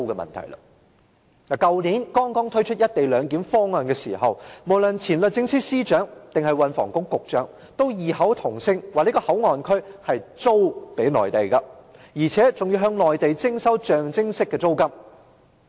去年剛剛推出"一地兩檢"安排時，無論是前律政司司長或運輸及房屋局局長，都異口同聲說這個口岸區是"租"予內地的，而且還要向內地徵收象徵式的租金。